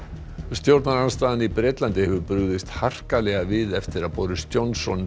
stjórnarandstaðan í Bretlandi hefur brugðist harkalega við eftir að Boris Johnson